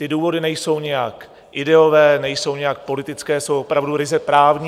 Ty důvody nejsou nijak ideové, nejsou nijak politické, jsou opravdu ryze právní.